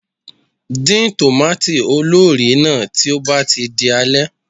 Dín tòmâtì olórìí náà tí ó bá ti di alẹ́.